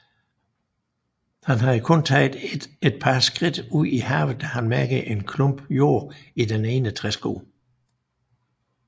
Han havde kun taget et par skridt ud i havet da han mærkede en klump jord i den ene træsko